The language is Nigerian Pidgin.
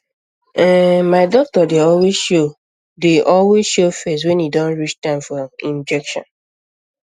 ehnmy doctor dey always show dey always show face when e don reach time for ehm injection